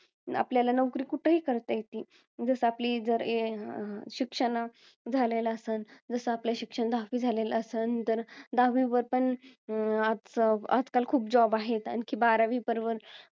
आपल्याला नोकरी कुठही करता येती. जसं आपली जर ए अं शिक्षण अं झालेलं असल, जसं आपलं शिक्षण दहावी झालेलं असल तर, दहावी वर पण अं आजच~ आजकाल खूप job आहे. आणखी बारावी वर पण